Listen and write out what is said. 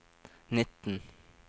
nitten